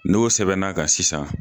N'o sɛbɛnna ka sisan